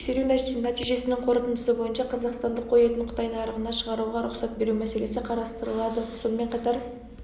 тексеру нәтижесінің қорытындысы бойынша қазақстандық қой етін қытай нарығына шығаруға рұқсат беру мәселесі қарастырылады сонымен қатар